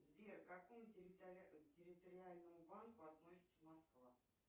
сбер к какому территориальному банку относится москва